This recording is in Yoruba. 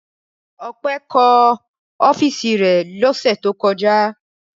Ọpẹ́ kọ́ ọ́fíísì rẹ̀ lọ́sẹ̀ tó kọjá.